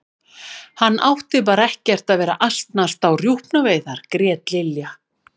Hann átti bara ekkert að vera að asnast á rjúpnaveiðar grét Lilla.